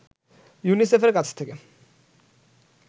ইউনিসেফের কাছ থেকে